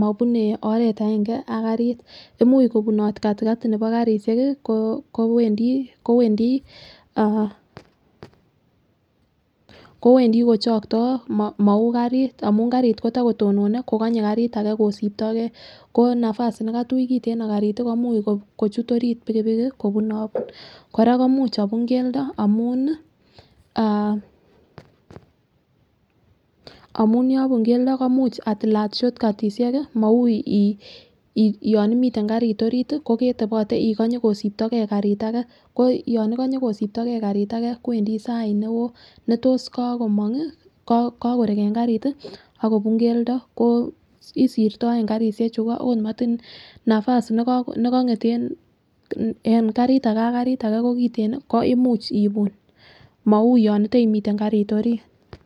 mobune oret aenge ak karit imuch kobunot katikati nebo kasishek Kii kowendii ah kowendii kochokto mou karit amun karit kotokotonone kokonye karit age kosibtogee ko nafasi nekatui kiteno karit komuch kochut orit pikipikik kobunobun. Koraa imuch obu keldo amun ni ah omunee yobun keldo imuch atilat shortcut tishek kii mou in yon imiten karit orit koketebote ikonyee kosibtogee karit age ko yon ikonyen kosibtogee karit ake kwendi sait neo netos ko komongi kokorek en karit tii ak kobun keldo ko isirtoen karishek chuu iko ot matin nafas nekonget en en karit age ko kiten nii ko imuch ibun mou yon iteimitem karit orit.